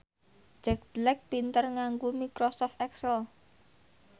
Jack Black pinter nganggo microsoft excel